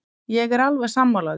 Ég er alveg sammála því.